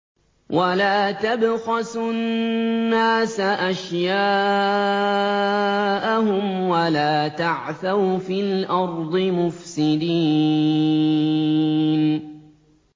وَلَا تَبْخَسُوا النَّاسَ أَشْيَاءَهُمْ وَلَا تَعْثَوْا فِي الْأَرْضِ مُفْسِدِينَ